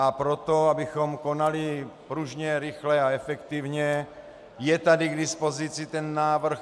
A proto, abychom konali pružně, rychle a efektivně, je tady k dispozici ten návrh.